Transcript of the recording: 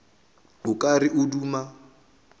o ka re o duma